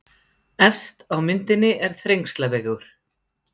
Efst á myndinni er Þrengslavegur.